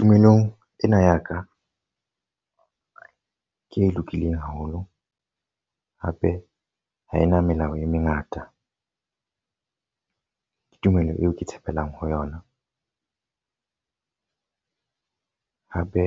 Tumelong ena ya ka, ke e lokileng haholo. Hape ha e na melao e mengata. Ke tumelo eo ke tshepelang ho yona. Hape